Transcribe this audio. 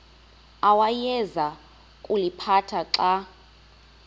awayeza kuliphatha xa